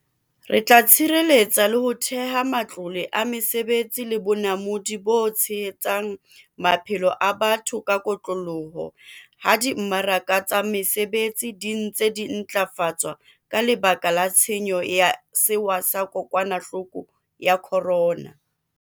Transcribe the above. Re tla tshireletsa le ho theha matlole a mesebetsi le bonamodi bo tshehetsang maphelo a batho ka kotloloho ha di mmaraka tsa mesebetsi di ntse di ntlafatswa ka lebaka la tshenyo ya sewa sa ko kwanahloko ya corona.